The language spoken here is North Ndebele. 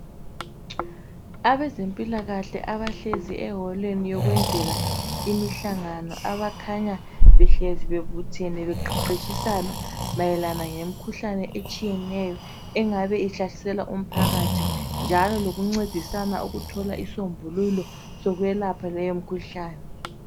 Abezempilakahle, abahlezi eholweni yokwenzela imihlangano. Abakhanya behlezi bebuthene, beqeqetshisana, mayelana ngemikhuhlane etshiyeneyo, engabe ihlaseka umphakathi. Njalo lokuncedisana, ukuthola isombululo, sokwelapha leyomikhuhlane.